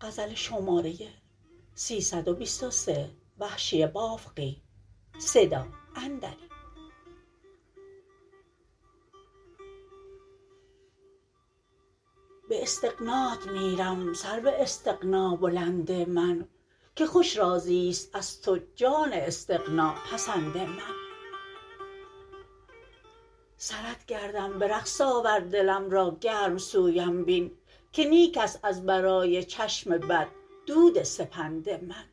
به استغنات میرم سرو استغنا بلند من که خوش راضیست از تو جان استغنا پسند من سرت گردم به رقص آور دلم را گرم سویم بین که نیک است از برای چشم بد دود سپند من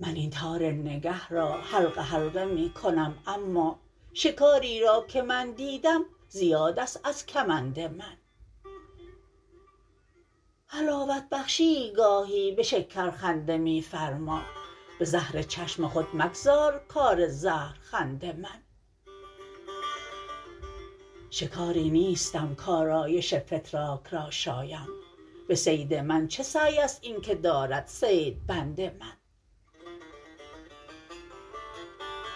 من این تار نگه را حلقه حلقه می کنم اما شکاری را که من دیدم زیاد است از کمند من حلاوت بخشیی گاهی به شکر خنده میفرما به زهر چشم خود مگذار کار زهر خند من شکاری نیستم کارایش فتراک را شایم به صید من چه سعی است اینکه دارد صید بند من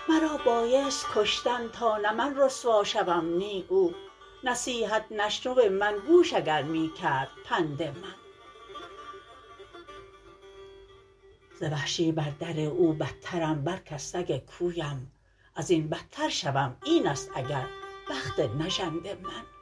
مرا بایست کشتن تا نه من رسوا شوم نی او نصیحت نشنو من گوش اگر می کرد پند من ز وحشی بر در او بدترم بلک از سگ کویم ازین بدتر شوم اینست اگر بخت نژند من